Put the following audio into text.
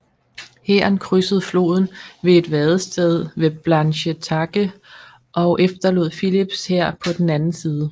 Hæren krydsede floden ved et vadested ved Blanchetaque og efterlod Philips hær på den anden side